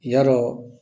Ya dɔ